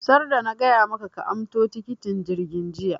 sarda na gaya maka ka anso tikitin jirgi jiya!